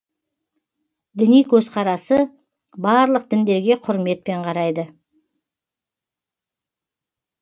діни көзқарасы барлық діндерге құрметпен қарайды